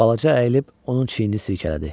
Balaca əyilib onun çiynini silkələdi.